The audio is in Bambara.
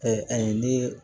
ayi ni